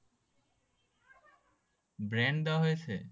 Brand দেওয়া হয়েছে?